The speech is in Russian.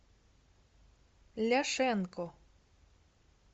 ляшенко